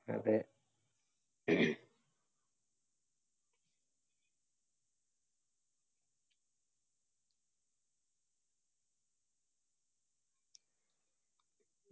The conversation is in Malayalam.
അതെ